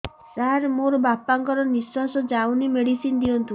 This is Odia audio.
ସାର ମୋର ବାପା ଙ୍କର ନିଃଶ୍ବାସ ଯାଉନି ମେଡିସିନ ଦିଅନ୍ତୁ